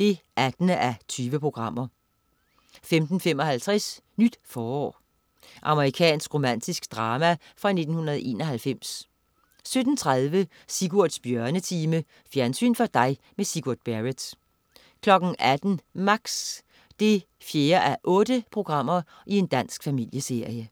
18:20* 15.55 Nyt forår. Amerikansk romantisk drama fra 1991 17.30 Sigurds Bjørnetime. Fjernsyn for dig med Sigurd Barrett 18.00 Max 4:8. Dansk familieserie